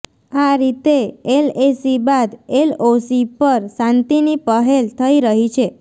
આ રીતે એલએસી બાદ એલઓસી પર શાંતિની પહેલ થઇ રહી છે